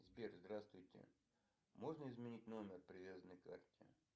сбер здравствуйте можно изменить номер привязанный к карте